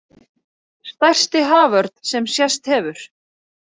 Stærsti haförn sem sést hefur